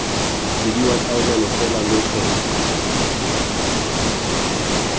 bidiwa taolelo fela lo tlhoka